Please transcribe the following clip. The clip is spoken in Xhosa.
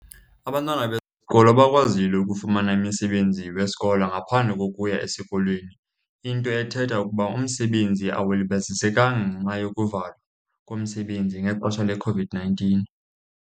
Abantwana besikolo bakwazile ukufumana imisebenzi wesikolo ngaphandle kokuya esikolweni, into ethetha ukuba umsebenzi awulibazisekanga ngenxa yokuvalwa komsebenzi ngexesha leCOVID-nineteen.